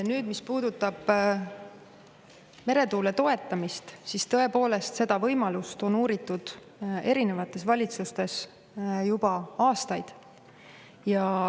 Nüüd, mis puudutab meretuule toetamist, siis tõepoolest, seda võimalust on uuritud erinevates valitsustes juba aastaid.